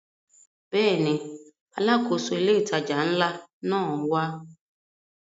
Bẹ́ẹ̀ni, Alákóso ilé ìtajà ńlá náà wá